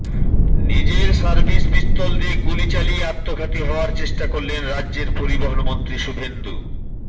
নিজের service pistol দিয়ে গুলি চালিয়ে আত্মঘাতী হওয়ার চেষ্টা করলেন রাজ্যের পরিবহণ মন্ত্রী শুভেন্দু